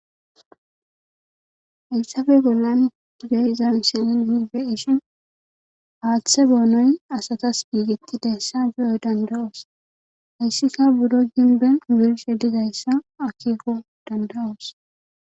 hayssafe bollan digeyiza misenin iibe ishin aaththe boonoy asatas biigettidaessa juyoy dandawoos hayssika budo ginben wirshe digayssa akiko danda7oos